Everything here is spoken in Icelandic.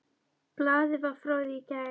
Blaðið var frá því í gær.